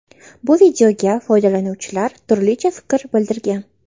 Bu videoga foydalanuvchilar turlicha fikr bildirgan.